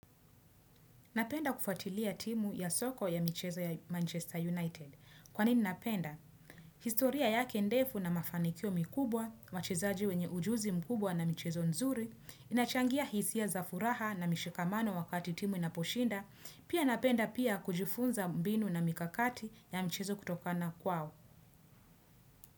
Napenda kufatilia timu ya soko ya michezo ya Manchester United. Kwanini napenda? Historia yake ndefu na mafanikio mikubwa, wachezaji wenye ujuzi mkubwa na michezo nzuri, inachangia hisia za furaha na mishikamano wakati timu inaposhinda, pia napenda pia kujufunza mbinu na mikakati ya michezo kutokana kwao.